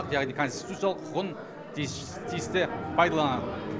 яғни конституциялық құқығын тиісті пайдаланады